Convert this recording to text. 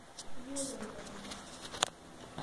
Iyiolo ilo?